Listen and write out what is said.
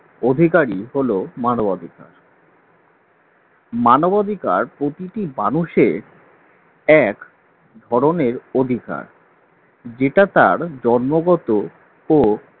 অধিকারী হল মানবাধিকার। মানবাধিকার প্রতিটি মানুষের এক ধরনের অধিকার । যেটা তার জন্মগত ও